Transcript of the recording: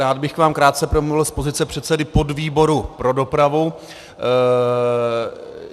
Rád bych k vám krátce promluvil z pozice předsedy podvýboru pro dopravu.